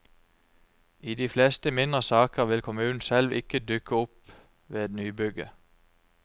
I de fleste mindre saker vil kommunen selv ikke dukke opp ved nybygget.